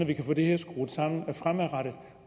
vi kan få det her skruet sammen fremadrettet